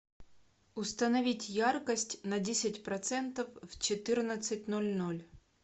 установить яркость на десять процентов в четырнадцать ноль ноль